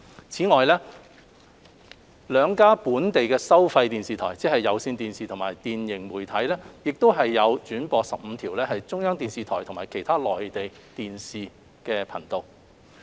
此外，兩家本地收費電視台，即有線電視和電盈媒體，亦轉播15條中央電視台和其他內地電視頻道。